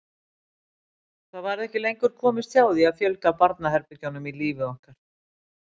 Það varð ekki lengur komist hjá því að fjölga barnaherbergjunum í lífi okkar.